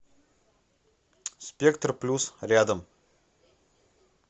спектр плюс рядом